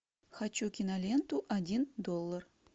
хочу киноленту один доллар